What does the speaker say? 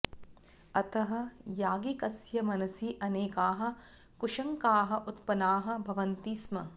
अतः याज्ञिकस्य मनसि अनेकाः कुशङ्काः उत्पन्नाः भवन्ति स्म